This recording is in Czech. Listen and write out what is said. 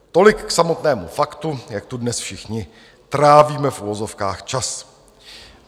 Tolik k samotnému faktu, jak tu dnes všichni trávíme, v uvozovkách, čas.